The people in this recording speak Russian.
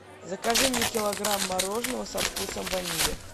закажи мне килограмм мороженого со вкусом ванили